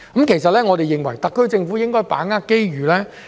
其實，我們認為特區政府應該把握機遇。